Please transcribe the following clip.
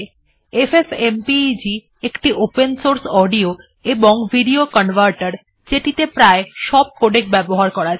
FFmpeg একটি open source audio এবং video কনভার্টের যেটিত়ে প্রায় সব কোডেক ব্যবহার করা যায়